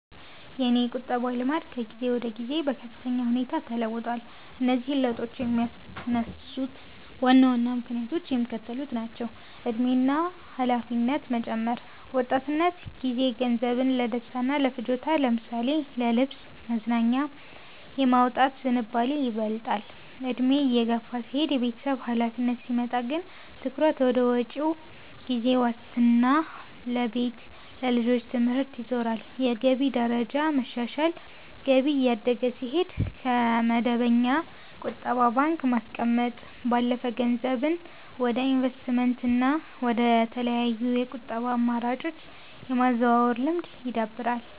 የእኔ የቁጠባ ልማድ ከጊዜ ወደ ጊዜ በከፍተኛ ሁኔታ ተለውጧል። እነዚህን ለውጦች የሚያነሳሱት ዋና ዋና ምክንያቶችም የሚከተሉት ናቸው፦ የዕድሜ እና የኃላፊነት መጨመር፦ በወጣትነት ጊዜ ገንዘብን ለደስታና ለፍጆታ ለምሳሌ ለልብስ፣ መዝናኛ የማውጣት ዝንባሌ ይበልጣል፤ ዕድሜ እየገፋ ሲሄድና የቤተሰብ ኃላፊነት ሲመጣ ግን ትኩረት ወደ መጪው ጊዜ ዋስትና ለቤት፣ ለልጆች ትምህርት ይዞራል። የገቢ ደረጃ መሻሻል፦ ገቢ እያደገ ሲሄድ፣ ከመደበኛ ቁጠባ ባንክ ማስቀመጥ ባለፈ ገንዘብን ወደ ኢንቨስትመንትና ወደ ተለያዩ የቁጠባ አማራጮች የማዛወር ልማድ ይዳብራል።